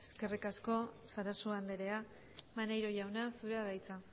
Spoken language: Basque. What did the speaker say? eskerrik asko sarasua andrea maneiro jauna zurea da hitza